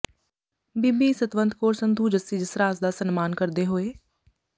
ਬੀਬੀ ਸਤਵੰਤ ਕੌਰ ਸੰਧੂ ਜੱਸੀ ਜਸਰਾਜ ਦਾ ਸਨਮਾਨ ਕਰਦੇ ਹੋਏ